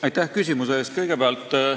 Aitäh küsimuse eest!